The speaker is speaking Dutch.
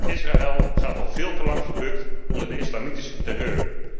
Israël gaat al veel te lang gebukt onder de islamitische terreur.